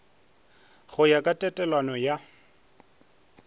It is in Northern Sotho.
go ya ka tatelano ya